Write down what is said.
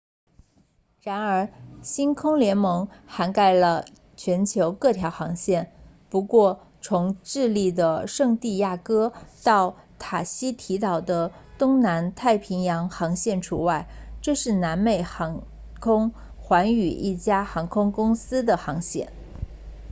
然而星空联盟涵盖了全球各条航线不过从智利的圣地亚哥到塔希提岛的东南太平洋航线除外这是南美航空 latam 寰宇一家航空公司的航线